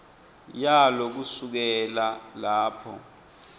yalo kusukela lapho